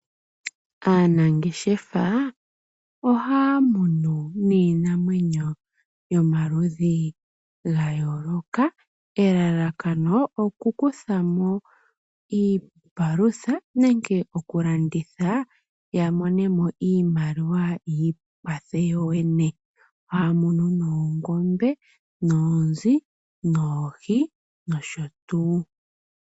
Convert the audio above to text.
Aanangeshefa oha munu niinamwenyo yomaludhi gayoloka. Elalakano oku kuthamo iipalutha nenge oku landitha ya monemo iimaliwa yi ikwathe yoyene. Oha munu noongombe, noonzi, noohi noshotuu.